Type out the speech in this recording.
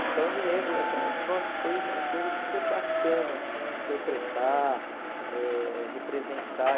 Então, eu me lembro essa... Nossa, foi uma coisa super bacana, assim, interpretar, eh representar.